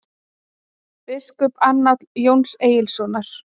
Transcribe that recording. „biskupaannálar jóns egilssonar